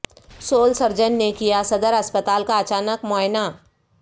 civil surgeon نے کیا صدر اسپتال کا اچانک معائنہ